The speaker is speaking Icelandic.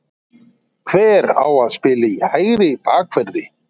Hver á að spila í hægri bakverði?